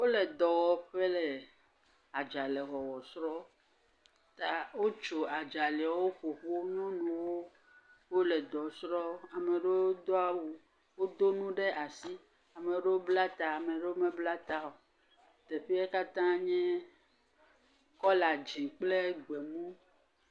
Wo le dɔwɔƒɔ le adzale wɔwɔ srɔ̃m. ta wotso adzalewo ƒoƒu. Nyɔnuwo wo le dɔ srɔ̃m, ame aɖewo do awu, ame aɖewo ɖo nu ɖe asi, ame aɖewo bla ta, ame aɖewo mebla ta o. teƒea katã nye kɔla dzi kple gbemu.